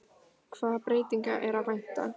Hvaða breytinga er að vænta?